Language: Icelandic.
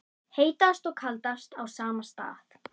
Heitast og kaldast á sama stað